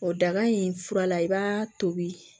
O daga in fura la i b'a tobi